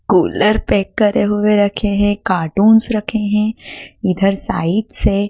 cooler pack करे हुए रखे हैं कार्टून्स रखे हैं इधर साइड से --